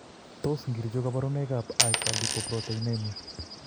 Tos achon kabarunaik ab Hyperlipoproteinemia ?